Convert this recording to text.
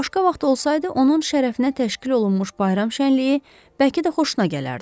Başqa vaxt olsaydı, onun şərəfinə təşkil olunmuş bayram şənliyi bəlkə də xoşuna gələrdi.